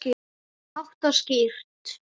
Hátt og skýrt.